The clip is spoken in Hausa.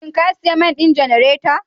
shin ka sayi mai don janareta?